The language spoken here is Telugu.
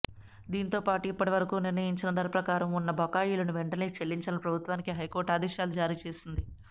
దీంతోపాటు ఇప్పటి వరకు నిర్ణయించిన ధర ప్రకారం ఉన్న బకాయిలను వెంటనే చెల్లించాలని ప్రభుత్వానికి హైకోర్టు ఆదేశాలు జారీ చేసింది